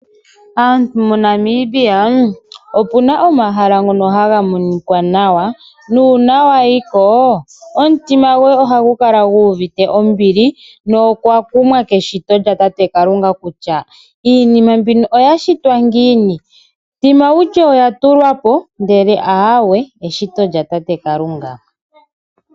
Aantu moNamibia opuna omahala ngono haga monika nawa nuuna wayiko omutima goye ohagu kala guvite ombili nokwa kumwa keshito lyatate Kalunga kutya iinima mbino oya shitwa ngiini tima wutye oyatulwapo ndele ahawe eshito lyatate Kalunga.